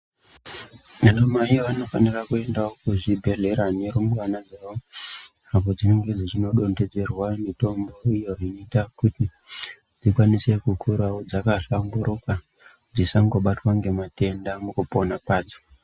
Anamai vanofanira kuendawo kuzvibhedhleya nerumbwana dzawo apo dzinenge dzichinodontedzerwa mitombo iyo inoita kuti dzikwanise kukurawo dzakahlamburuka dzisangobatwa ngematenda mukupona kwadzo.